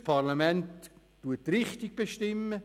Das Parlament steuert, es bestimmt die Richtung.